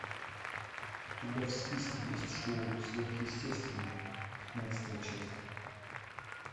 у тебя в списке есть шоу сверхъестественное пятнадцатая часть